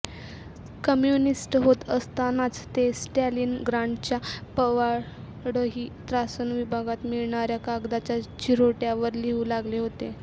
communist होत असतानाच ते स्टॅलिनग्राडच्या पवाडही त्रासन विभागात मिळणाऱ्या कागदाच्या चिऱ्होट्यावर लिहू लागले होते